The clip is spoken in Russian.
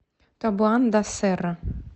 табоан да серра